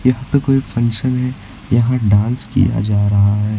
यहां पे कोई फंक्शन है यहां डांस किया जा रहा है।